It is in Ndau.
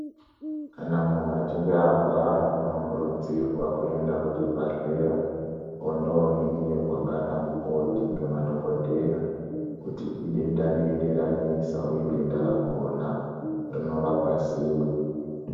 Kana muntu achinge arwara anofana kukurudzirwa kuenda kizvibhehlera vondoningirwa ngana mukoti ngemadokodheya kuti idenda rei ranesa uye denda rakona rinorapwa sei?